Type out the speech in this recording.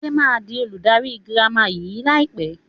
Adé máa di olùdarí girama yìí lai pẹ̀